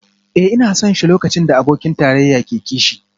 Eh ina son shi lokacin da abokin tarayya ke kishi